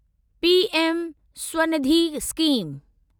PM Svanidhi scheme